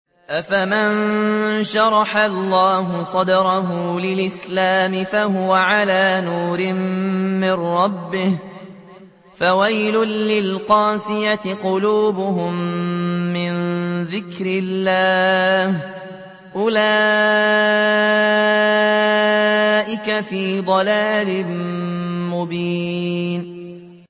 أَفَمَن شَرَحَ اللَّهُ صَدْرَهُ لِلْإِسْلَامِ فَهُوَ عَلَىٰ نُورٍ مِّن رَّبِّهِ ۚ فَوَيْلٌ لِّلْقَاسِيَةِ قُلُوبُهُم مِّن ذِكْرِ اللَّهِ ۚ أُولَٰئِكَ فِي ضَلَالٍ مُّبِينٍ